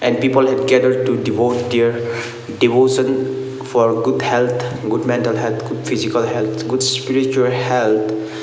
and people had gathered to devote their devotion for good health good mental health good physical health good spiritual health.